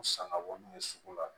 U sanga bɔ n'u ye sugu la